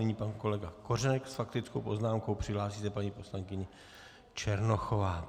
Nyní pan kolega Kořenek s faktickou poznámkou, připraví se paní poslankyně Černochová.